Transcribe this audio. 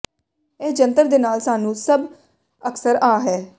ਇਹ ਜੰਤਰ ਦੇ ਨਾਲ ਸਾਨੂੰ ਸਭ ਅਕਸਰ ਆ ਹੈ